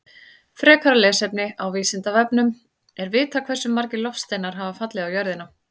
Frekara lesefni á Vísindavefnum: Er vitað hversu margir loftsteinar hafa fallið á jörðina?